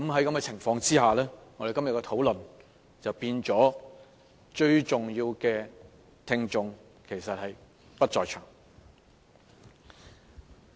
在這情況下，我們今天的討論便變成沒有最重要的聽眾在場。